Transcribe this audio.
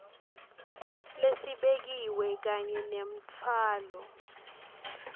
lesibekiwe kanye nemtfwalo